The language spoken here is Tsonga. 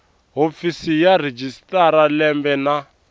hofisi ya registrar lembe na